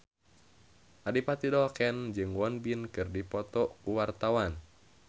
Adipati Dolken jeung Won Bin keur dipoto ku wartawan